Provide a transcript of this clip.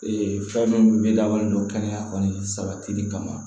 Ee fɛn min bɛ labɔlen don kɛnɛya kɔni sabatili kama